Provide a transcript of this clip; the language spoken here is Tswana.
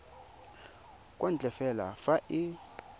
kwa ntle fela fa e